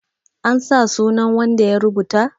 an sa sunan wanda ya rubuta?